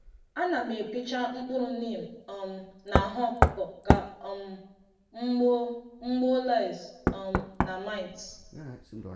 Ana m epicha mkpụrọ neem um n’ahụ ọkụkọ ka um m gbuo m gbuo lice um na mites